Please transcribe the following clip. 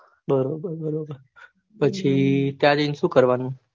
બરોબર બરોબર ત્યાં જઈને સુ કરવાનું.